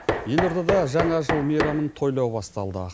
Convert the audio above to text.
елордада жаңа жыл мейрамын тойлау басталды